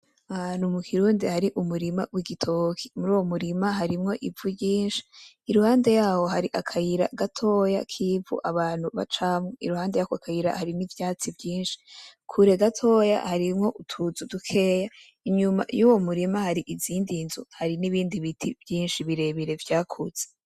Ahantu mu kirundi hari umurima w'igitoke. Muri uwo murima harimwo ivu ryinshi, iruhande yaho hari akayira gatoya k'ivu abantu bacamwo, iruhande yako kayira hari n'ivyatsi vyinshi. Kure gatoya harimwo utuzu dukeya, inyuma yuwo murima hari izindi nzu, hari n'ibindi biti vyinshi birebire vyakuze.